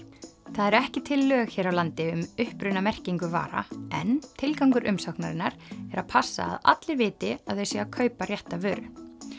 það eru ekki til lög hér á landi um upprunamerkingu vara en tilgangur umsóknarinnar er að passa að allir viti að það sé að kaupa rétta vöru